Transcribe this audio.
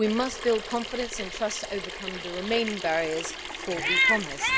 We must build confidence and trust to overcome the remaining barriers to e commerce.